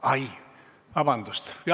Ai, vabandust!